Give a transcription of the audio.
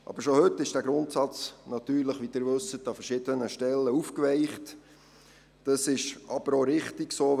Allerdings wird dieser Grundsatz, wie Sie wissen, bereits heute an verschiedenen Stellen aufgeweicht, was aber auch richtig ist.